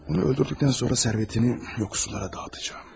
Onu öldürdükdən sonra sərvətini yoxsullara dağıtacam.